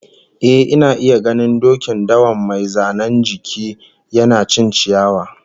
Eh, ina iya ganin dokin dawan mai zanen jiki, yana cin ciyawa